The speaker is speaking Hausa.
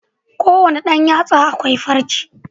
A kowanne Dan yatsa akwai farce